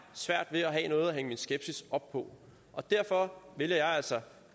svært ved at have noget at hænge min skepsis op på og derfor vælger jeg altså